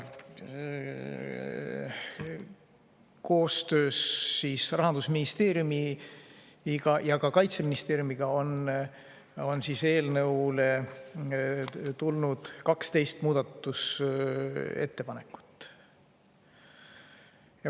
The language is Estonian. Koostöös Rahandusministeeriumi ja Kaitseministeeriumiga on eelnõu kohta tulnud 12 muudatusettepanekut.